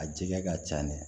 A jɛgɛ ka ca dɛ